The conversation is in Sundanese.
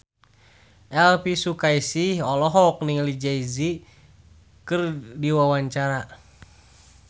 Elvi Sukaesih olohok ningali Jay Z keur diwawancara